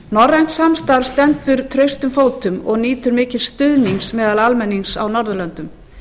norrænt samstarf stendur traustum fótum og nýtur mikils stuðnings meðal almennings á norðurlöndum